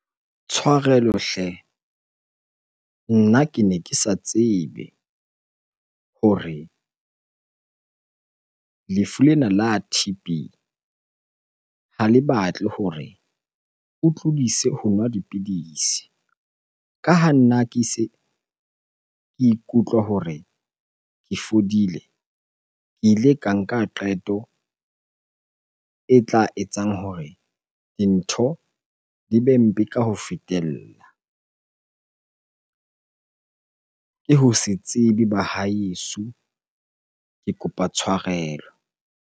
Tshwarelo hle, nna kene ke sa tsebe hore lefu lena la T_B ha le batle hore o tlodise ho nwa dipidisi. Ka ha nna ke se ke ikutlwa hore ke fodile, ke ile ka nka qeto e tla etsang hore dintho di be mpe ka ho fetela. Ke ho se tsebe bahaeso, ke kopa tshwarelo.